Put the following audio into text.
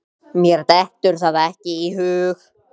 Mér dettur það ekki í hug.